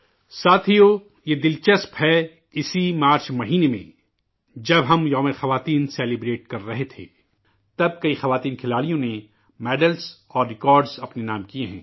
ساتھیو، یہ دلچسپ ہے، اسی مارچ کے مہینے میں، جب ہم یوم خواتین منا رہے تھے ، تب کئی خاتون کھلاڑیوں نے میڈل اور ریکارڈ اپنے نام کیے ہیں